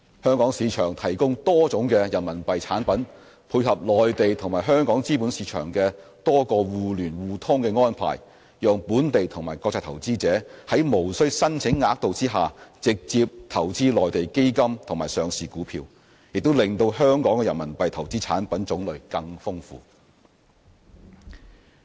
香港市場提供多種人民幣產品，配合內地和香港資本市場的多個互聯互通安排，讓本地及國際投資者在無需申請額度下直接投資內地基金及上市股票，亦令香港的人民幣投資產品種類更豐富。